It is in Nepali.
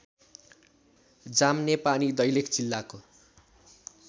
जामनेपानी दैलेख जिल्लाको